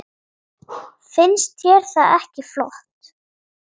Finnst þér það ekki flott?